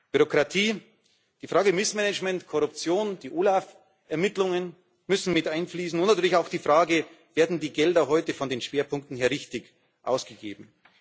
Bürokratie, die Frage Missmanagement, Korruption, die OLAF Ermittlungen müssen mit einfließen, und natürlich auch die Frage Werden die Gelder heute von den Schwerpunkten her richtig ausgegeben?